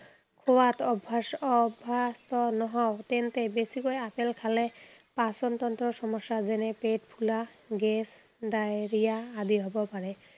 লোৱাত অভ্য়াস অভ্য়াস্ত নহয় তেন্তে, বেছিকৈ আপেল খালে পাচনতন্ত্ৰৰ সমস্য়া, যেনে পেট ফুলা, গেছ, diarrhea আদি হব পাৰে।